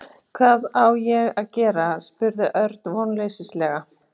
Hvað á ég að gera? spurði Örn vonleysislega.